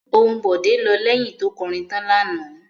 Ohùn Bọ̀dé lọ lẹ́yìn tó kọrin tọ́ lánàá.